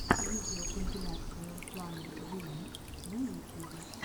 видеокомпиляция руслана джии на ютюбе